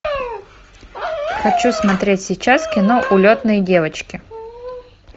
хочу смотреть сейчас кино улетные девочки